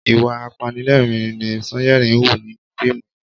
Ìwà apanilẹ́rìn-ín ni Sanyeri ń hù nínú fíìmù yen